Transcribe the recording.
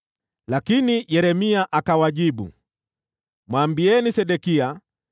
Lakini Yeremia akawajibu, “Mwambieni Sedekia,